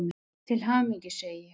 Til hamingju, segi ég.